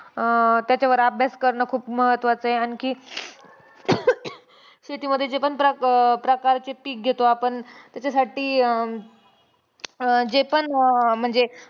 अं त्याच्यावर अभ्यास करणं खूप महत्त्वाचंय आणखी, शेतीमध्ये जे पण प्र प्रकारचे पिक घेतो आपण त्याच्यासाठी अं जे पण म्हणजे